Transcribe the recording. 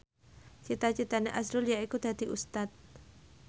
cita citane azrul yaiku dadi Ustad